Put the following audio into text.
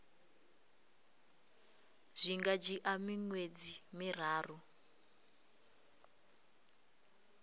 zwi nga dzhia miṅwedzi miraru